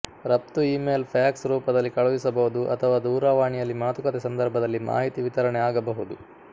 ರಫ್ತು email fax ರೂಪದಲ್ಲಿ ಕಳಿಸಬಹುದು ಅಥವಾ ದೂರವಾಣಿಯಲ್ಲಿ ಮಾತುಕತೆ ಸಂದರ್ಭದಲ್ಲಿ ಮಾಹಿತಿ ವಿತರಣೆ ಆಗಬಹುದು